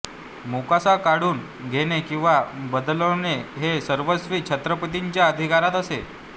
मोकासा काढुन घेणे किंवा बदलवणे हे सर्वस्वी छत्रपतीच्या अधिकारात असे